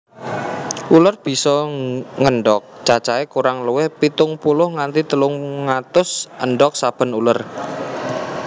Uler bisa ngendhog cacahé kurang luwih pitung puluh nganti telung atus endhog saben uler